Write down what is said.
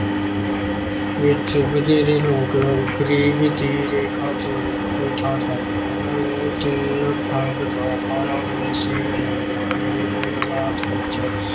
ਵਿੱਚ ਵਧੇਰੇ ਲੋਕ ਗਰੀਬੀ ਰੇਖਾ ਤੋਂ ਹੇਠਾ ਹਨ। ਉਹਨਾਂ ਨੂੰ ਤਿੰਨ ਡੰਗ ਦਾ ਖਾਣਾ ਵੀ ਨਸੀਬ ਨਹੀਂ ਹੁੰਦਾ ਹੈ। ਇਹੋ ਜਿਹੇ ਹਾਲਾਤ ਵਿੱਚ